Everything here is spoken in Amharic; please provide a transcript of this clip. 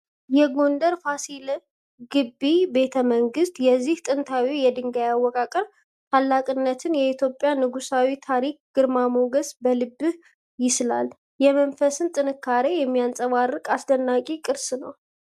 የጎንደር ፋሲል ግቢ ቤተመንግስት! የዚህ ጥንታዊ የድንጋይ አወቃቀር ታላቅነት የኢትዮጵያን የንጉሣዊ ታሪክ ግርማ ሞገስ በልብህ ይስላል። የመንፈስን ጥንካሬ የሚያንጸባርቅ አስደናቂ ቅርስ ነው!